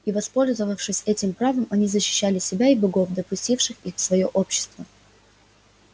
и воспользовавшись этим правом они защищали себя и богов допустивших их в своё общество